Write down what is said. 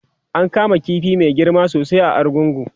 an kama ƙifi Mai girma sosai a argungu